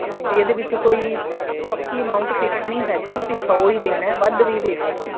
ਤੇ ਇਹਦੇ ਵਿੱਚ ਕੋਈ ਪੱਕੀ amount fix ਨਹੀਂ ਹੈਗੀ ਕਿ ਸੋ ਹੀ ਦੇਣਾ ਹੈ ਵੱਧ ਵੀ ਦੇ ਸਕਦੇ ਹੋ